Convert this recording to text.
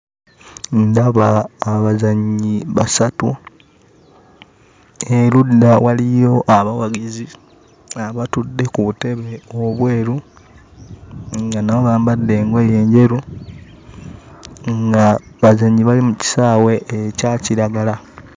Ndaba abazannyi basatu erudda waliyo abawagizi abatudde ku butebe obweru nga nabo bambadde engoye enjeru nga bazannyi bali mu kisaawe ekya kiragala.